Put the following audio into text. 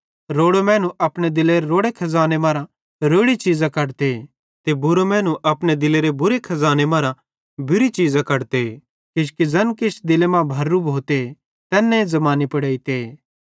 रोड़ो मैनू अपने दिलेरे रोड़े खज़ाने मरां रोड़ी चीज़ां कढ़ते ते बुरो मैनू अपने दिलेरे खज़ाने मरां बुरी चीज़ां कढ़ते किजोकि ज़ैन दिले मां भरेरू भोते तैन्ने ज़बानी पुड़ एइते